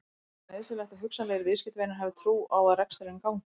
Er ekki nauðsynlegt að hugsanlegir viðskiptavinir hafi trú á að reksturinn gangi?